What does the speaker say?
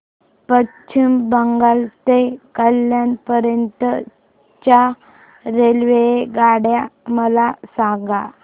पश्चिम बंगाल ते कल्याण पर्यंत च्या रेल्वेगाड्या मला सांगा